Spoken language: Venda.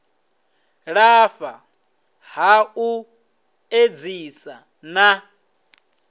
lafha ha u edzisa na